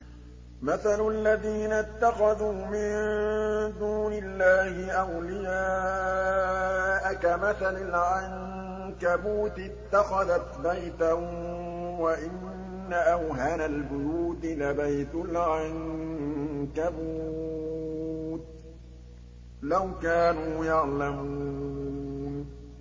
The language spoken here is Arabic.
مَثَلُ الَّذِينَ اتَّخَذُوا مِن دُونِ اللَّهِ أَوْلِيَاءَ كَمَثَلِ الْعَنكَبُوتِ اتَّخَذَتْ بَيْتًا ۖ وَإِنَّ أَوْهَنَ الْبُيُوتِ لَبَيْتُ الْعَنكَبُوتِ ۖ لَوْ كَانُوا يَعْلَمُونَ